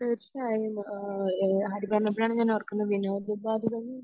തീർച്ചയായും ആഹ് ഇഹ് ഹരി പറഞ്ഞപ്പോഴാണ് ഓർകുന്നേ വിനോദോപാദികളെ